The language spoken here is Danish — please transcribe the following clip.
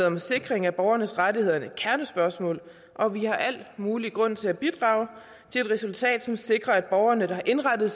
om sikring af borgernes rettigheder et kernespørgsmål og vi har al mulig grund til at bidrage til et resultat som sikrer at borgerne der har indrettet